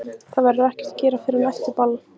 Það verður ekkert að gera fyrr en eftir ball.